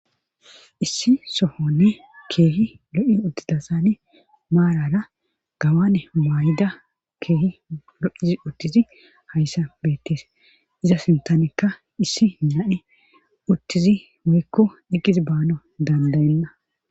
issi sohonne keehi lo7i uttidasani maarara gawane maayida keehi lo7izi uttizi hayssa beettes iza sintanekka issi naani uttizi moykko iqqis baano dandayenna